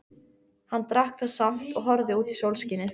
Hann drakk það samt og horfði út í sólskinið.